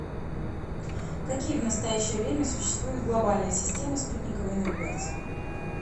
какие в настоящее время существуют глобальные системы спутниковой навигации